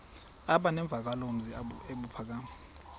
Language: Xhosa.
aba nemvakalozwi ebuphakama